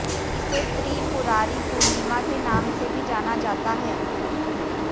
इसे त्रिपुरारि पूर्णिमा के नाम से भी जाना जाता है